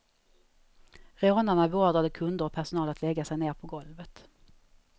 Rånarna beordrade kunder och personal att lägga sig ned på golvet.